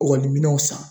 Ɔkɔliminɛw san